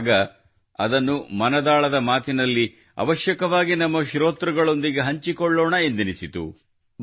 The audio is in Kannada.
ಆಗ ಇದನ್ನು ಮನದಾಳದ ಮಾತಿನಲ್ಲಿ ಅವಶ್ಯವಾಗಿ ನಮ್ಮ ಶ್ರೋತೃಗಳೊಂದಿಗೆ ಹಂಚಿಕೊಳ್ಳೋಣ ಎಂದೆನಿಸಿತು